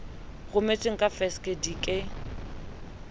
rometsweng ka fekse di ke